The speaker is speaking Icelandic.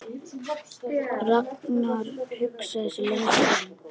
Ragnar hugsaði sig lengi um.